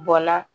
Bɔ la